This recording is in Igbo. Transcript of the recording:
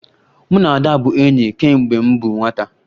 Mụ na Ada bụ enyi kemgbe m bụ nwata